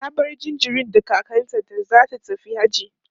ta bar jinjirin da kakanta da zata tafi hajji